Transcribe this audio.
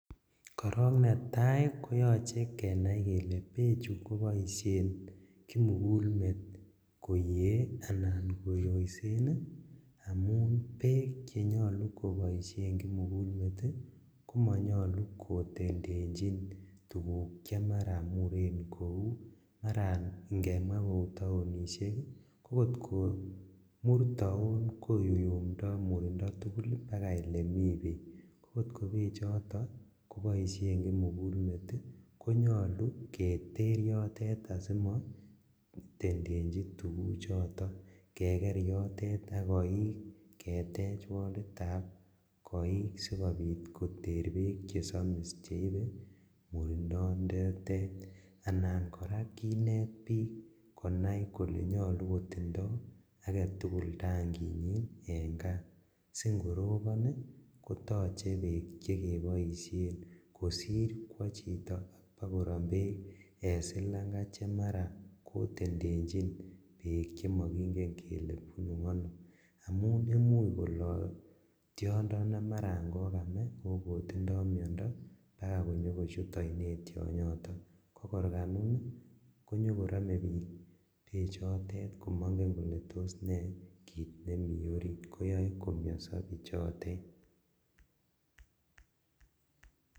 Korok netai koyochei kenai kele bechu koboishen kimugulmet koyee anan koyoishen amu beek chenyolu koboishe kimugulmet komanyolun kotentenjin tukuk che mara muren kou ngemwa kou taonishek kot komur taon koyuntoi murindo tugul mpaka olemi beek kot kobeechoton koboishen kimugulmet konyolu keter yotet asimo tendenji tukuchoto keker yotet akoik ketech wall ab koik sikobit koter beek chesomis cheibei murindo anan kora kinet biik konai kole nyolu kotindoi agetugul tankinyi eng' kaa singorobon kotochei beek chekeboishe kosir kwo chito akorom beek eng' silanga chemara kotendenjin beek chemakingen kele bunu ano amun muuch koloi tiondo ne mara kokame akokotindoi miondo Ako kakonyor konyikochut oinet tionyoto kokorkanyi konyikoromei biik bechotet komaingen kole toss ne kit nemi orit koyoe komyonsi bichotet